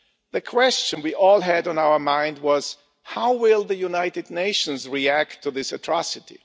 The question we all had on our mind was how will the United Nations react to this atrocity?